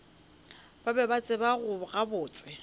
ba be ba tseba gabotse